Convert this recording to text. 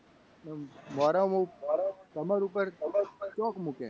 અને વર્ષ કમર ઉપર ચોક મૂકે.